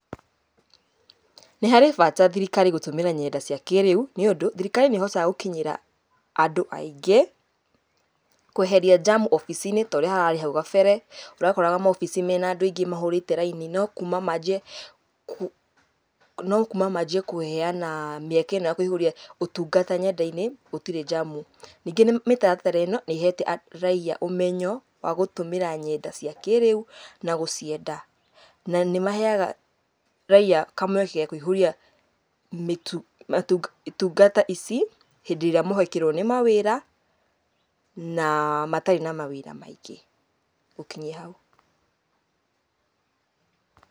Nĩ harĩ bata thirikari gũtũmĩra nyenda cia kĩrĩu, nĩũndũ thirikari nĩ ĩhotaga gũkinyĩra andũ aingĩ kũeheria njamu obici-inĩ torĩa hararĩ hau gabere, ũrakoraga maobici mena andũ aingĩ mahũrĩte raini no kuma manjie, no kuma manjie kũheana mĩeke ĩno ya kũihũria ũtungata nyenda-inĩ, gũtirĩ njamu. Ningĩ mĩtaratara ĩno nĩhete raiya ũmenyo wa gũtũmĩra nyenda cia kĩrĩu na gũcienda. Na nĩmaheaga raiya kamweke ga kũihũria mĩtu, itungata ici hĩndĩ ĩrĩa mohĩkĩrwo nĩ mawĩra na matarĩ na mawĩra maingĩ. Ngũkinyia hau.